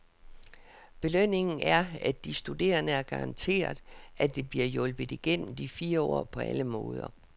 Belønningen er, at de studerende er garanteret, at de bliver hjulpet igennem de fire år på alle måder.